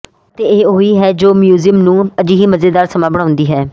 ਅਤੇ ਇਹ ਉਹੀ ਹੈ ਜੋ ਮਿਊਜ਼ੀਅਮ ਨੂੰ ਅਜਿਹੀ ਮਜ਼ੇਦਾਰ ਸਮਾਂ ਬਣਾਉਂਦੀ ਹੈ